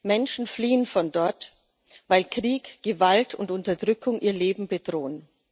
Menschen fliehen von dort, weil Krieg, Gewalt und Unterdrückung ihr Leben bedrohen.